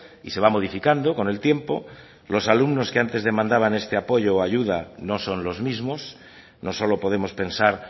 y se va modificando con el tiempo los alumnos que antes demandaban este apoyo o ayuda no son los mismos no solo podemos pensar